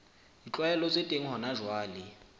ditlwaelo tse teng hona jwale